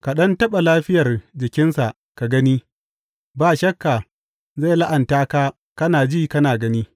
Ka ɗan taɓa lafiyar jikinsa ka gani ba shakka zai la’anta ka kana ji kana gani.